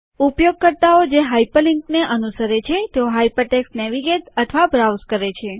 વપરાશકર્તાઓ જે હાઇપરલિન્ક્ને અનુસરે છે તેઓ હાઇપરટેક્સ્ટ નેવિગેટ અથવા બ્રાઉઝ કરે છે